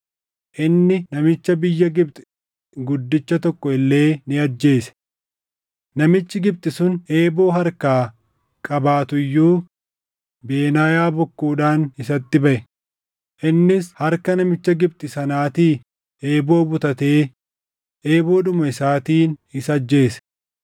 Inni namicha biyya Gibxi guddicha tokko illee ni ajjeese. Namichi Gibxi sun eeboo harkaa qabaatu iyyuu Benaayaa bokkuudhaan isatti baʼe; innis harka namicha Gibxi sanaatii eeboo butatee eeboodhuma isaatiin isa ajjeese.